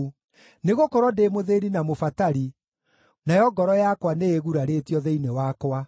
Nĩgũkorwo ndĩ mũthĩĩni na mũbatari, nayo ngoro yakwa nĩĩgurarĩtio thĩinĩ wakwa.